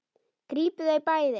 Grípið þau bæði!